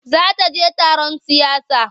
Za ta je taron siyasa.